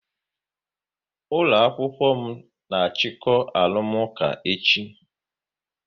Ụlọ akwụkwọ m na achiko arụmụka echi